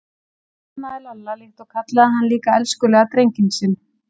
Hún faðmaði Lalla líka og kallaði hann líka elskulega drenginn sinn.